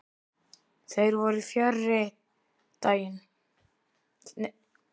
Þeir voru fjarri þennan daginn.